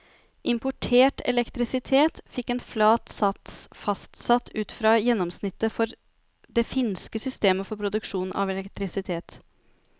Importert elektrisitet fikk en flat sats fastsatt ut fra gjennomsnittet for det finske system for produksjon av elektrisitet.